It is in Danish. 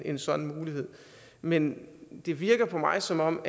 en sådan mulighed men det virker på mig som om